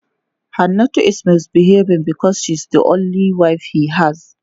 Hannatu is misbehaving because she is the only wive he has.